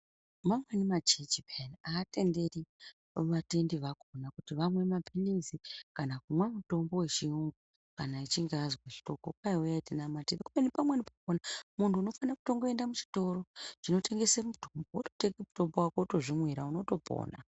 Mamweni machechi peya hatenderi vatendi vakona kuti vamwe maphirizi kana kumwa mutombo vechiyungu kana echinge azwa hloko. Kwai uyai tinamate kubeni pamweni pakona muntu unofana kutongoenda muchitoro chinotengese mitombo vototenge mutombo vako votozvimwira unotopona.